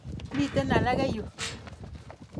Miten alake yuun.